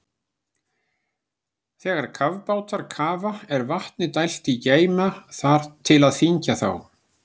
Þegar kafbátar kafa er vatni dælt í geyma til að þyngja þá.